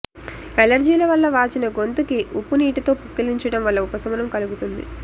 ఎలర్జీల వల్ల వాచిన గొంతు కి ఉప్పు నీటితో పుక్కిలించడం వల్ల ఉపశమనం కలుగుతుంది